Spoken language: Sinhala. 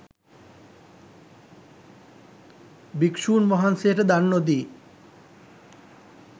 භික්ෂූන් වහන්සේට දන් නොදී